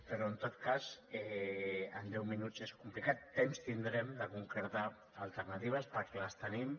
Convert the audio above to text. però en tot cas en deu minuts és complicat temps tindrem de concretar alternatives perquè les tenim